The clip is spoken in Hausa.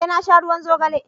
eh na sha ruwan zogale